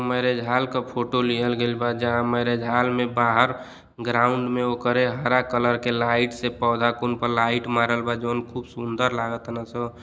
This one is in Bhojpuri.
मैरिज हॉल के फोटो लियल गईल बा जहां मैरिज हॉल में बाहर ग्राउन्ड में ओकरें हरा कलर के लाइट से पौधा फूल पर लाइट मारल बा जॉन खूब सुंदर लागतन सन।